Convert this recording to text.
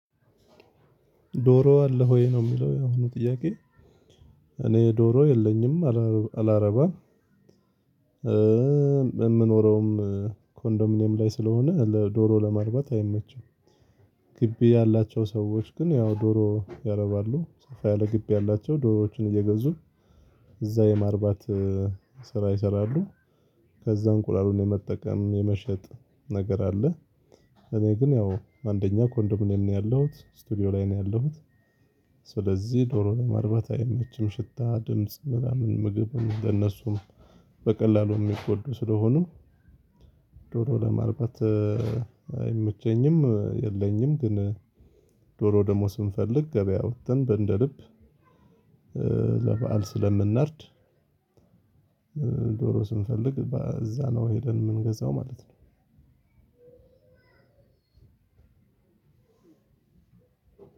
ዶሮ አለህ ወይ ነው የሚለው የአሁኑ ጥያቄ? እኔ ዶሮ የለኝም አላረባም። የምኖረውም ኮንዶሚኒየም ላይ ስለሆነ ለዶሮ ለማርባት አይመቸም። ግቢ ያላቸው ሰዎች ግን ያው ዶሮ ያረባሉ። ሰፋ ያለ ግቢ ያላቸው ዶሮዎችን እየገዙ እዛ የማርባት ስራ ይሰራሉ። ከዛ እንቁላሉን የመጠቀም የመሸጥ ነገር አለ። እኔ ግን ያው አንደኛ ኮንዶሚኔም ነው ያለሁት ስቱዲዮ ላይ ነው ያለሁት። ስለዚህ ዶሮ ለማርባት አይመችም ሽታ ድምጽ ምናምን ምግብም እነሱም በቀላሉ የሚጎዱ ስለሆኑ ዶሮ ለማርባት አይመቸኝም። የለኝም ግን ዶሮ ደግሞ ስንፈልግ ገበያ ወተን እንደልብ ለበአል ስለምናርድ። ዶሮ ስንፈልግ እዛ ነው ሄደን የምንገዛው ማለት ነው።